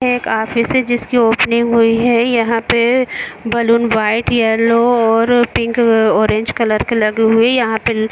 एक जिसकी ओपनिंग हुई है यहाँ पे बैलून वाइट येल्लो और पिंक और ऑरेंज कलर की लगी हुई यहाँ पर--